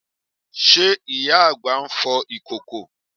Ṣe ìyá àgbà ń fọ ìkòkò?